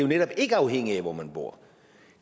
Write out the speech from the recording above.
netop ikke afhængigt af hvor man bor